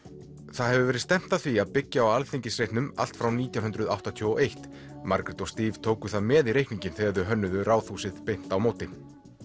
það hefur verið stefnt að því að byggja á Alþingisreitnum allt frá nítján hundruð áttatíu og eitt Margrét og Steve tóku það með í reikninginn þegar þau hönnuðu Ráðhúsið beint á móti